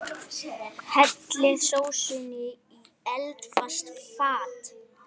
Hellið sósunni í eldfast fat.